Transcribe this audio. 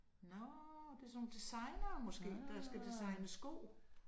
Nåh, det sådan nogle designere måske, der skal designe sko